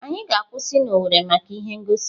Anyị ga-akwụsị na Owerri maka ihe ngosi.